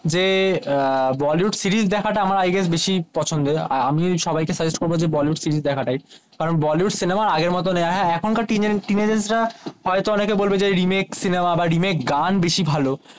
যে বলিউড সিরিজ দেখা টা আমার আই গেস বেশি পছন্দের আর আমি সবাই কে সাজেস্ট করবো বলিউড সিরিজ দেখা টাই কারণ বলিউড সিনেমা আগের মতো আ আ এখনো কার টিনএজার টিনেজার্স রা হয়তো অনেকে বলবে রেমাকেস সিনেমা বা রেমাকেস গান বেশি ভালো